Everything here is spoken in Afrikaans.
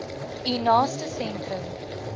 u naaste sentrum